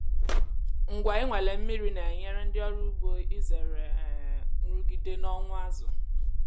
ngwa inwale mmiri na-enyere ndị ọrụ ugbo izere um nrụgide na ọnwụ azụ.